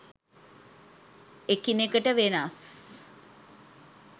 එකිනෙකට වෙනස්.